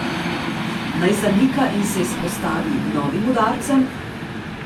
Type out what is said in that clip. Naj zanika in se izpostavi novim udarcem?